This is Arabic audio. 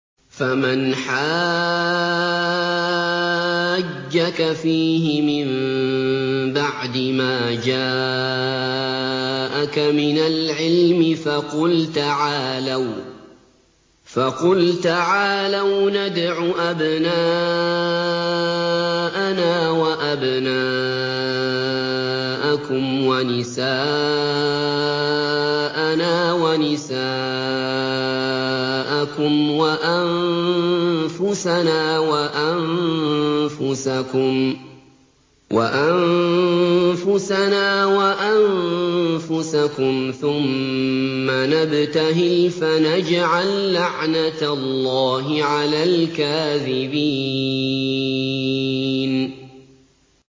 فَمَنْ حَاجَّكَ فِيهِ مِن بَعْدِ مَا جَاءَكَ مِنَ الْعِلْمِ فَقُلْ تَعَالَوْا نَدْعُ أَبْنَاءَنَا وَأَبْنَاءَكُمْ وَنِسَاءَنَا وَنِسَاءَكُمْ وَأَنفُسَنَا وَأَنفُسَكُمْ ثُمَّ نَبْتَهِلْ فَنَجْعَل لَّعْنَتَ اللَّهِ عَلَى الْكَاذِبِينَ